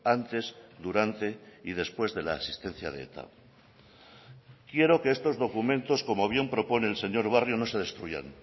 antes durante y después de la existencia de eta quiero que estos documentos como bien propone el señor barrio no se destruyan